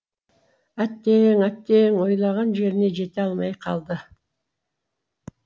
әттең әттең ойлаған жеріне жете алмай қалды